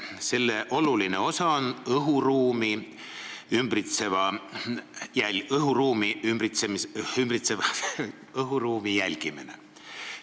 Selle oluline osa on ümbritseva õhuruumi jälgimine.